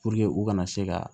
Puruke u ka na se ka